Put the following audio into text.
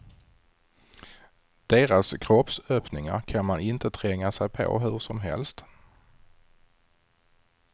Deras kroppsöppningar kan man inte tränga sig på hur som helst.